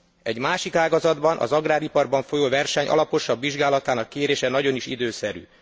Egy másik ágazatban, az agráriparban folyó verseny alaposabb vizsgálatának kérése nagyon is időszerű.